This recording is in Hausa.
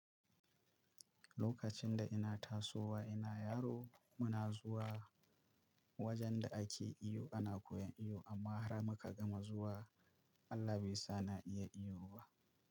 Lokacin da ina tasowa ina yaro, muna zuwa wajen da ake iyo ana koyan iyo amma har muka gama zuwa Allah be sa na iya iyo ba.